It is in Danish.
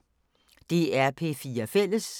DR P4 Fælles